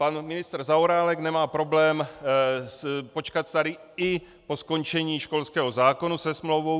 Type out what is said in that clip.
Pan ministr Zaorálek nemá problém počkat tady i po skončení školského zákona se smlouvou.